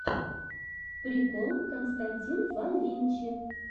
прикол константин фанвинчи